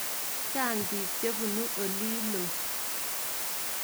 Chang' piik che punu olilo.